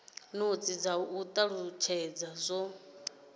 notsi dza u talutshedza zwo